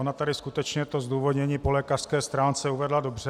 Ona tady skutečně to zdůvodnění po lékařské stránce uvedla dobře.